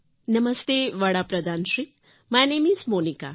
નમસ્તે વડાપ્રધાનશ્રી my name is Monica